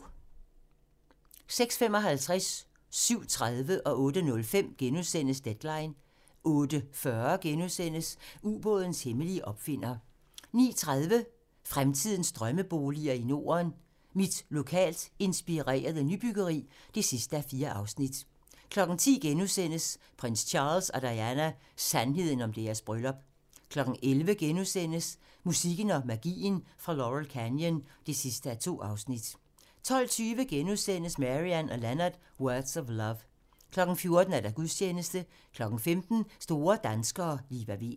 06:55: Deadline * 07:30: Deadline * 08:05: Deadline * 08:40: Ubådens hemmelige opfinder * 09:30: Fremtidens Drømmeboliger i Norden: Mit lokalt inspirerede nybyggeri (4:4) 10:00: Prins Charles og Diana: Sandheden om deres bryllup * 11:00: Musikken og magien fra Laurel Canyon (2:2)* 12:20: Marianne & Leonard: Words of Love * 14:00: Gudstjeneste 15:00: Store danskere - Liva Weel